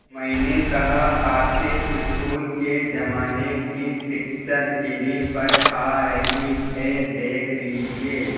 मैंने कहा आपके स्कूल के ज़माने की पिक्चर टीवी पर आ रही है देख लीजिये